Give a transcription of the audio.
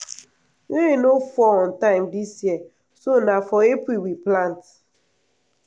rain no fall on time dis year so na for april we plant.